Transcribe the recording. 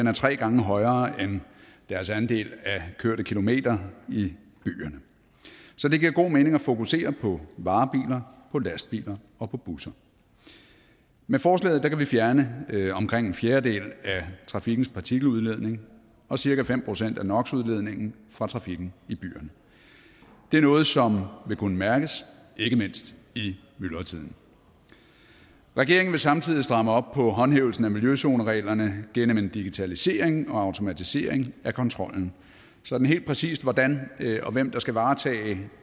er tre gange højere end deres andel af kørte kilometer i byerne så det giver god mening at fokusere på varebiler på lastbiler og på busser med forslaget kan vi fjerne omkring en fjerdedel af trafikkens partikeludledning og cirka fem procent af nox udledningen fra trafikken i byerne det er noget som vil kunne mærkes ikke mindst i myldretiden regeringen vil samtidig stramme op på håndhævelsen af miljøzonereglerne gennem en digitalisering og automatisering af kontrollen sådan helt præcist hvordan og hvem der skal varetage